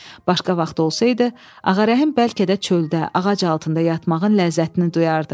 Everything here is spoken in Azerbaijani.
Başqa vaxt olsaydı, Ağarəhim bəlkə də çöldə, ağac altında yatmağın ləzzətini duyardı.